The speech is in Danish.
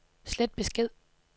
slet besked